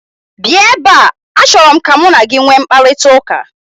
Bịa ebe a, achọrọ m ka mụ na gị nwee mkparịtaụka!!